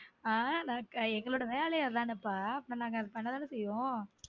அஹ் நா எங்கலோட வேலயே அதான ப்பா அப்போ நாங்க பண்ண தான செய்வோம்